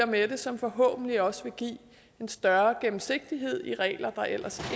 med som forhåbentlig også vil give en større gennemsigtighed af de regler der ellers